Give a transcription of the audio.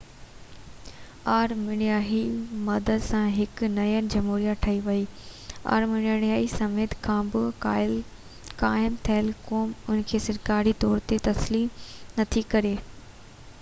آرمينيائي مدد سان هڪ نئين جمهوريه ٺهي وئي.پر آرمينيا سميت ڪا به قائم ٿيل قوم ان کي سرڪاري طور تي تسليم نٿي ڪري